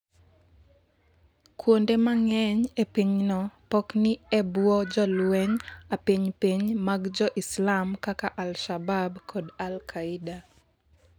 kuonde mang'eny e pinyno pok ni e bwo jolwenj apiny piny mag Jo-Islam kaka Alshabab kod Alkaida